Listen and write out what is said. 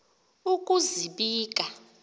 ukuzibika